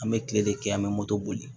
An bɛ kile de kɛ an bɛ moto boli